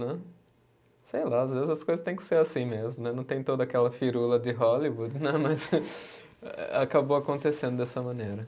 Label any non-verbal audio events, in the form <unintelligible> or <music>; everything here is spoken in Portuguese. <unintelligible> Sei lá, às vezes as coisas têm que ser assim mesmo né, não tem toda aquela firula de Hollywood, né <laughs> mas acabou acontecendo dessa maneira.